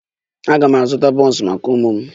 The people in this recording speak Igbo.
M ga-azụta buns maka ụmụ m